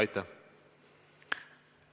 Aitäh!